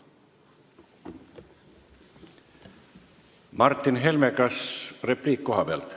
Martin Helme, kas repliik kohalt?